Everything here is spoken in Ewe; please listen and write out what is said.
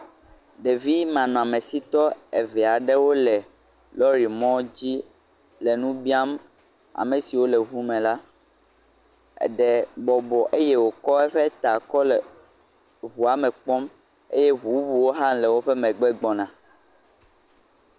Ɖevimanɔsitɔwo le lɔri mɔdzi le nu biam ame siwo le ŋume la eɖe bɔbɔ eye wòkɔ eƒe ta kɔ le ŋua me kpɔm. Eye ŋu bubuwo hã le woƒe megbe gbɔna.